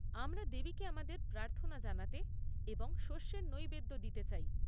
আমরা দেবীকে আমাদের প্রার্থনা জানাতে এবং শস্যর নৈবেদ্য দিতে চাই।